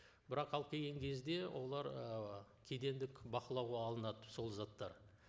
бірақ алып келген кезде олар ы кедендік бақылауға алынады сол заттар